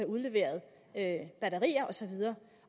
udleverede batterier osv